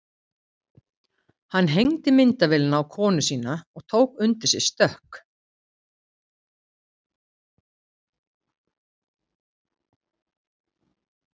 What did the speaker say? Hann hengdi myndavélina á konu sína og tók undir sig stökk.